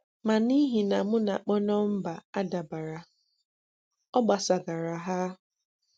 Ma n’ihi na m na-akpọ nọmba adàbàrà, ọ gbasàgàrà ha.